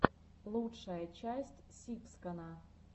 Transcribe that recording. лучшая часть сибскана